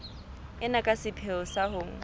ena ka sepheo sa ho